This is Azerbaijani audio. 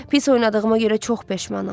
Pis oynadığıma görə çox peşmanam.